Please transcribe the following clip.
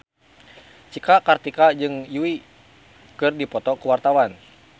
Cika Kartika jeung Yui keur dipoto ku wartawan